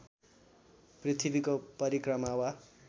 पृथ्वीको परिक्रमा वा